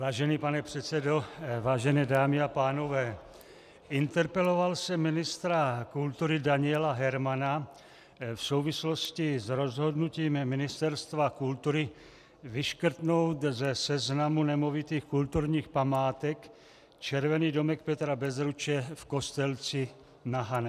Vážený pane předsedo, vážené dámy a pánové, interpeloval jsem ministra kultury Daniela Hermana v souvislosti s rozhodnutím Ministerstva kultury vyškrtnout ze seznamu nemovitých kulturních památek Červený domek Petra Bezruče v Kostelci na Hané.